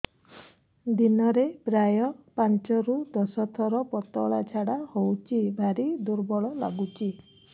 ଦିନରେ ପ୍ରାୟ ପାଞ୍ଚରୁ ଦଶ ଥର ପତଳା ଝାଡା ହଉଚି ଭାରି ଦୁର୍ବଳ ଲାଗୁଚି